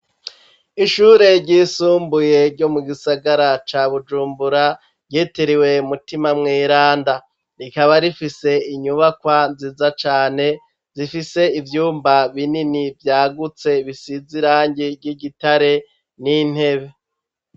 Ishure ry'isumbuye ryo mu gisagara ca Bujumbura ryiteriwe umutima mweranda rikaba rifise inyubakwa nziza cane zifise ivyumba binini vyagutse bisize irangi ry'igitare n'intebe.